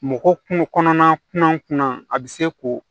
Mɔgɔ kun kɔnɔna kunna a bɛ se k'o